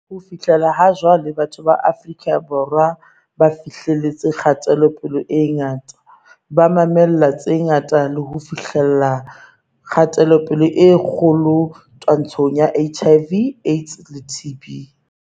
Ho fihlela ha jwale, batho ba Afrika Borwa ba fihleletse kgatelopele e ngata, ba mamella tse ngata le ho fihlella kgatelopele e kgolo twa-ntshong ya HIV, AIDS le TB.